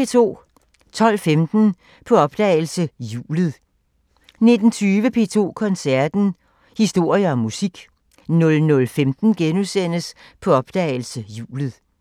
12:15: På opdagelse – Hjulet 19:20: P2 Koncerten – Historier og musik 00:15: På opdagelse – Hjulet *